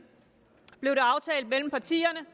blev det aftalt mellem partierne